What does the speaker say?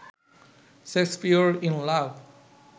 Shakespeare in love